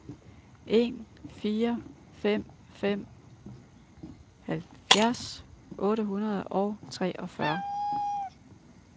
en fire fem fem halvfjerds otte hundrede og treogfyrre